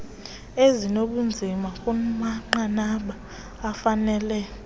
ezinobunzima kumanqanaba afanele